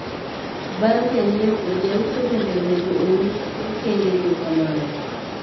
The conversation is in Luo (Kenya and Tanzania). Bang' janyiepo, jauso bende onego ouu okengego kamano.